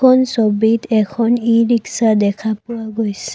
এইখন ছবিত এখন ই-ৰিক্সা দেখা পোৱা গৈছে।